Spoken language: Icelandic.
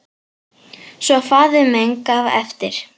Svo faðir minn gaf eftir!